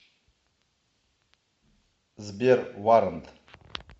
сбер варрант